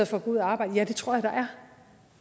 for at gå ud og arbejde ja det tror